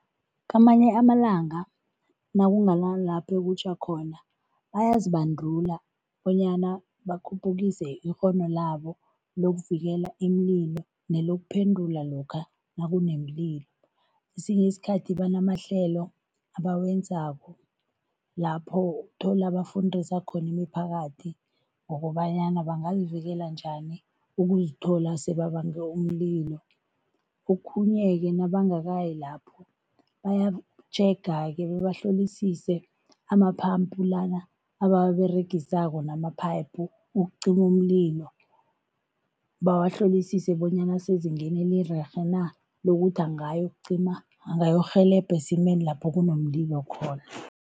Kamanye amalanga nakunganalapho okutjha khona, bayazibandula bonyana bakhuphukise ikghono labo lokuvikela imililo nelokuphendula lokha nakunemililo. Kesinye isikhathi banamahlelo abawenzako, lapho uthola bafundisa khona imiphakathi ngokobanyana bangazivikela njani ukuzithola sebabange umlilo. Okhunye-ke nabangakayi lapho, bayatjhega-ke bebahlolisise ama-pump lana abawaberegisako nama-pipe ukucima umlilo, bawahlolisise bonyana asezingeni elirerhe na, lokuthi angayokucima, angayokurhelebha esimeni lapho kunomlilo khona.